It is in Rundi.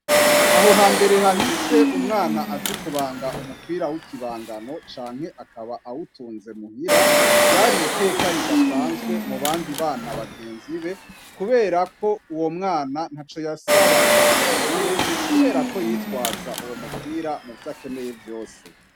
Aho hambere hahise, umwana zi kubanga umupira w'ikibangano canke akaba awutunze muhira, ryari iteka ridasanzwe mu bandi bana bagenzi be kuberako uwo mwana ntaco yasaba ngo akibure kuberako yitwaza uwo mupira muvyo akeneye vyose.